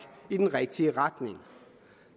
i den rigtige retning